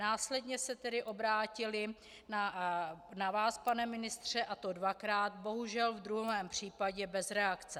Následně se tedy obrátili na vás, pane ministře, a to dvakrát, bohužel v druhém případě bez reakce.